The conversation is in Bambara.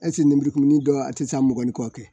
lenburukumuni dɔw a tɛ taa mɔgɔni kɔ kɛ